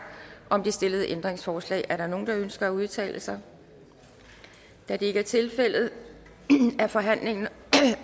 om det stillede ændringsforslag er der nogen der ønsker at udtale sig da det ikke er tilfældet er forhandlingen